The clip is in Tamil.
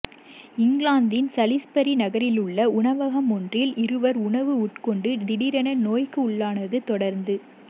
இங்கிலாந்தின் சலிஸ்பரி நகரிலுள்ள உணவகமொன்றில் இருவர் உணவு உட்கொண்டு திடீரென நோய்க்குள்ளானதைத் தொடர்ந